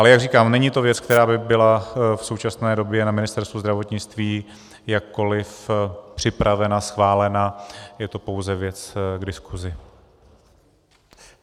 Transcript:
Ale jak říkám, není to věc, která by byla v současné době na Ministerstvu zdravotnictví jakkoli připravena, schválena, je to pouze věc k diskusi.